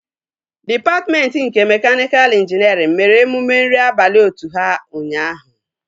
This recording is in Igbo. Dịpatmentị nke mekaniika ịnjinierịn mere emume nri abalị otu ha ụnyaahụ